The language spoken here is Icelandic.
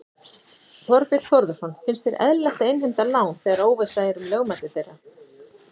Þorbjörn Þórðarson: Finnst þér eðlilegt að innheimta lán þegar óvissa er um lögmæti þeirra?